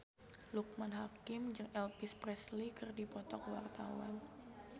Loekman Hakim jeung Elvis Presley keur dipoto ku wartawan